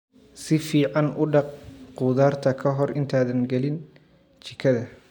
Si fiican u dhaq khudaarta ka hor intaadan gelin jikada.